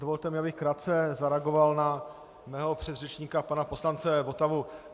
Dovolte mi, abych krátce zareagoval na svého předřečníka pana poslance Votavu.